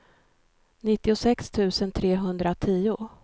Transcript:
nittiosex tusen trehundratio